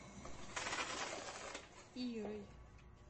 ирой